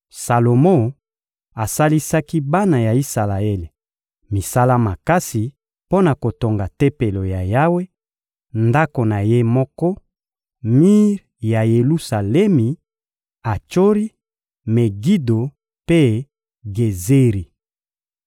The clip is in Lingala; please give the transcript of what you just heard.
Salomo asalisaki bana ya Isalaele misala makasi mpo na kotonga Tempelo ya Yawe, ndako na ye moko, Milo, mir ya Yelusalemi, Atsori, Megido mpe Gezeri.